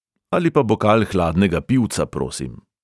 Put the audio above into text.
Ali pa bokal hladnega pivca, prosim!